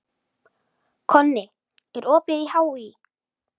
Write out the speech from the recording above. Konni, er opið í HÍ?